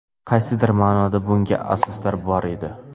Qaysidir ma’noda bunga asoslar bor edi.